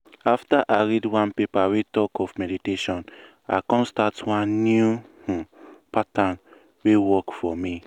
after i read one paper wey talk of meditation i come start one new um pattern wey work for me.